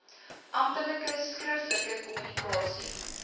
amptelike skriftelike kommunikasie